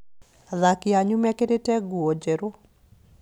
Athaki anyu mekĩrĩte nguo njerũ